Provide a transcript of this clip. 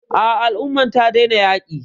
A'a, al umman ta daina yaƙi.